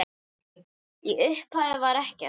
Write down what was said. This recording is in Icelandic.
Í upphafi var ekkert.